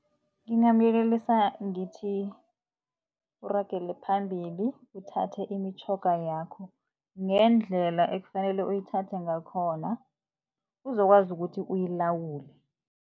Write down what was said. Ngingamyelelisa ngithi uragele phambili uthathe imitjhoga yakho ngendlela ekufanele uyithathe ngakhona uzokwazi ukuthi uyilawule.